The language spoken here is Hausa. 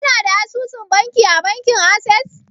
Kana da asusun banki a bankin Ases?